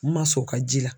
N ma sɔn u ka ji la